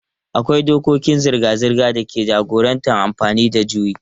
Akwai dokokin zirga-zirga da ke jagorantar amfani da juyi.